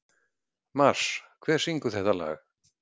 Mars, hver syngur þetta lag?